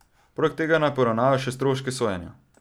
Poleg tega naj poravnajo še stroške sojenja.